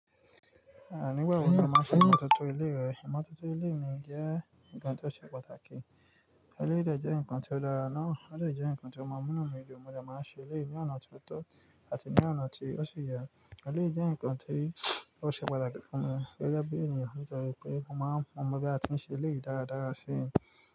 Àní ìgbà wo ni o máa ń ṣe ìmọ́tótó ilé rẹ? Ìmọ́tótó ilé mi jẹ́ nǹkan tó ṣe pàtàkì. Ilé jẹ́ nǹkan tí ó dára ná. Ilé jẹ́ nǹkan tí ó mọ̀ọ́mọ̀ mi ju. Mo jẹ́ máa ń ṣe ilé mi ọ̀nà tó tọ́ àti ní ọ̀nà tí ó ṣe yà. Eléyi jẹ́ nǹkan tí ó ṣe pàtàkì fún mi gẹ́gẹ́ bí ènìyàn nítorí pé mo máa ń fọ́n ọmọ bí a ti ń ṣe ilé dáradára sí.